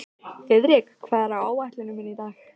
Að eggið fellur sjaldan langt frá hænunni!